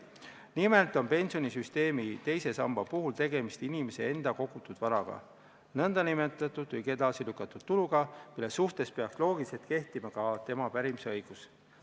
Nimelt on pensionisüsteemi teise samba puhul tegemist inimese enda kogutud varaga, nn edasilükatud tuluga, mille suhtes peaks loogiliselt kehtima ka tema pärimisõigus.